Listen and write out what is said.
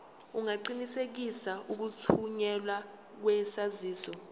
ungaqinisekisa ukuthunyelwa kwesaziso